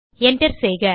Enter செய்க